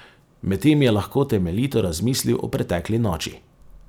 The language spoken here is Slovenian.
Medtem je lahko temeljito razmislil o pretekli noči.